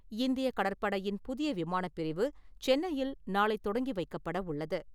இந்தியக் கடற்படையின் புதிய விமானப் பிரிவு சென்னையில் நாளை தொடங்கி வைக்கப்படவுள்ளது.